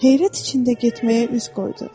heyrət içində getməyə üz qoydu.